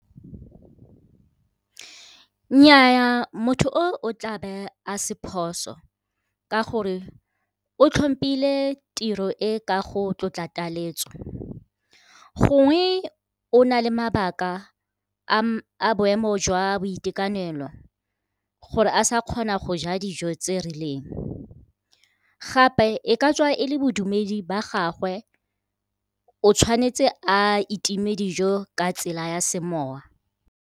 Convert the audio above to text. Nnyaa, motho o tlabe a se phoso, ka gore o itlhompile tiro e ka go tlotla taletso. Gongwe o na le mabaka a boemo jwa boitekanelo, gore a sa kgona go ja dijo tse rileng. Gape e ka tswa e le bodumedi ba gagwe o tshwanetse a itime dijo ka tsela ya semowa.